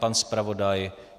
Pan zpravodaj?